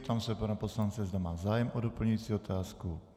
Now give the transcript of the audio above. Ptám se pana poslance, zda má zájem o doplňující otázku.